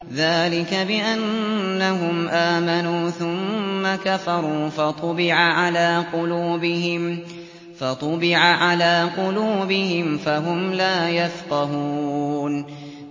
ذَٰلِكَ بِأَنَّهُمْ آمَنُوا ثُمَّ كَفَرُوا فَطُبِعَ عَلَىٰ قُلُوبِهِمْ فَهُمْ لَا يَفْقَهُونَ